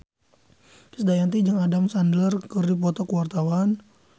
Krisdayanti jeung Adam Sandler keur dipoto ku wartawan